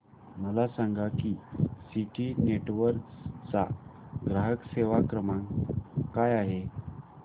मला सांगा की सिटी नेटवर्क्स चा ग्राहक सेवा क्रमांक काय आहे